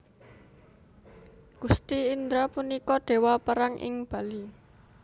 Gusti Indra punika dewa perang ing Bali